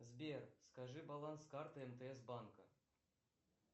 сбер скажи баланс карты мтс банка